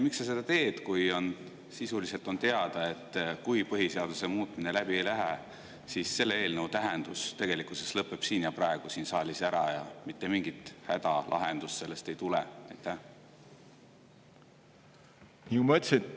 Miks sa seda teed, kui on sisuliselt teada, et kui põhiseaduse muutmine läbi ei lähe, siis selle eelnõu tähendus tegelikkuses lõpeb siin ja praegu siin saalis ära ning mitte mingit hädalahendust sellest ei tule?